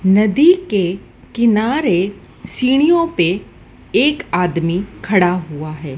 नदी के किनारे सीढ़ियों पे एक आदमी खड़ा हुआ है।